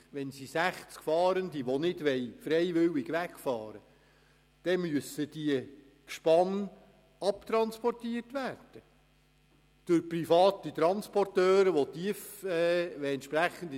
Wenn die 60 Fahrenden nicht freiwillig wegfahren wollen, müssen ihre 60 Gespanne durch private Transporteure mit Tiefladern abtransportiert werden.